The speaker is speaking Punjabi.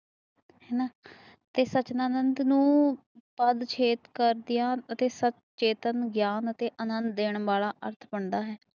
ਇਸ ਸੁਤਨਾ ਨਾਦ ਨੂੰ ਪਦ ਛੇਦ ਕਰਦਿਆਂ ਅੱਤੇ ਸੰਤ ਚੇਤਨ ਗਿਆਨ ਅੱਤੇ ਆਨੰਦ ਦੇਣ ਵਾਲਾ ਅਰਥ ਬਣਦਾ ਹੈ